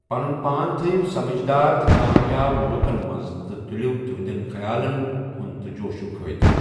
پَنُن پان تھٲیِو سَمِجدار تہٕ کامیاب لُکَن مَنٛز تہٕ تُلِو تِہِنٛدٮ۪ن خَیالَن ہٗند تہٕ جوشُک فٲیدٕ۔